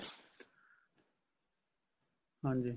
ਹਾਂਜੀ